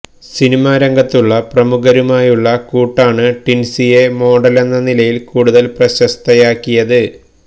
cinema രംഗത്തുള്ള പ്രമുഖരുമായുള്ള കൂട്ടാണ് ടിൻസിയെ മോഡലെന്ന നിലയിൽ കൂടുതൽ പ്രശസ്തയാക്കിയത്